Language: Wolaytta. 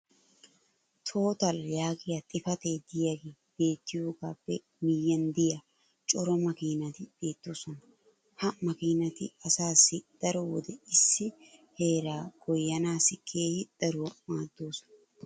"Total" YAAGIYA XIFATEE DIYAAGE BETIYAAGAAPPE MIYIYAN DIYA CORA MAKKIINATI BEETOOSONA. HA MAKKIINATI ASAASSI DARO WODE ISSI HEERAA GOYYANAASSI KEEHI DARUWA MAADOOSONA.